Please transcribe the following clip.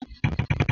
Ọ nyela m tepu ahụ